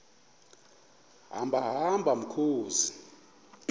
hamba hamba mkhozi